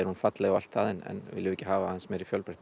falleg og allt það en viljum við ekki hafa aðeins meiri fjölbreytni